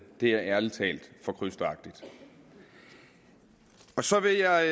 er ærlig talt for krysteragtigt så vil jeg